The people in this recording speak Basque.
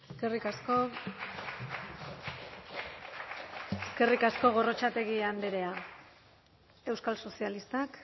eskerrik asko eskerrik asko gorrotxategi andrea euskal sozialistak